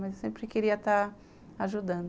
Mas eu sempre queria estar ajudando.